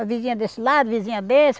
A vizinha desse lado, a vizinha desse.